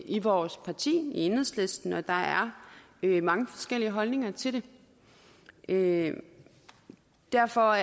i vores parti i enhedslisten og der er er mange forskellige holdninger til det derfor